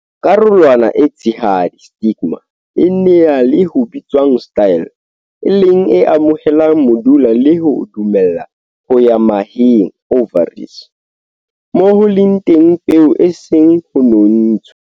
Karolwana e tshehadi, stigma, e na le ho bitswang style, e leng e amohelang modula le ho o dumella ho ya maheng, ovaries, moo ho leng teng peo e song ho nontshwe.